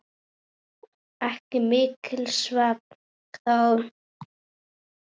Ekki mikill svefn þá.